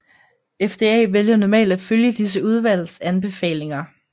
FDA vælger normalt at følge disse udvalgs anbefalinger